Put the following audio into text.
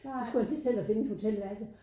Så skulle han til selv at finde et hotelværelse